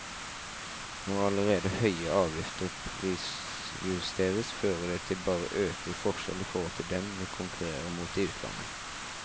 Når allerede høye avgifter prisjusteres, fører det bare til øket forskjell i forhold til dem vi konkurrerer mot i utlandet.